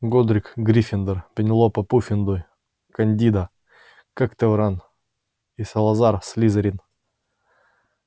годрик гриффиндор пенелопа пуффендуй кандида когтевран и салазар слизерин